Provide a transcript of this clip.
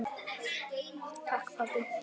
Hún er svo mjúk.